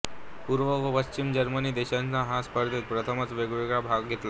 पूर्व व पश्चिम जर्मनी देशांनी ह्या स्पर्धेत प्रथमच वेगवेगळा भाग घेतला